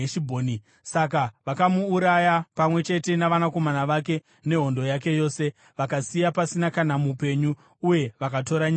Saka vakamuuraya, pamwe chete navanakomana vake nehondo yake yose, vakasiya pasina kana mupenyu. Uye vakatora nyika yake.